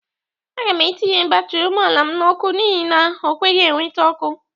Aga m etinye batiri ụgbọala m n'ọkụ n'ihi na o kweghi eweta ọkụ.